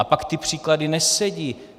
A pak ty příklady nesedí.